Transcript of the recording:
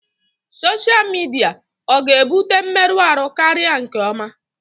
Sọsha midia ọ ga-ebute mmerụ ahụ karịa nke ọma?